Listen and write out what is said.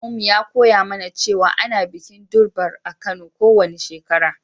Malamin mu ya koya mana cewa ana bikin Durbar a'Kano ko wani shekara.